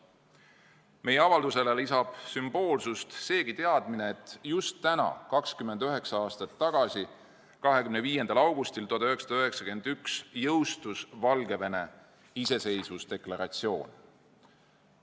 Meie avaldusele lisab sümboolsust seegi teadmine, et just täna 29 aastat tagasi, 25. augustil 1991 jõustus Valgevene iseseisvusdeklaratsioon.